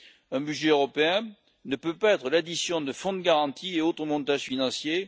Un budget européen ne peut pas être l'addition de fonds de garantie et d'autres montages financiers.